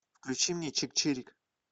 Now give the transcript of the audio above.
включи мне чик чирик